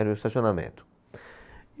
Era o estacionamento.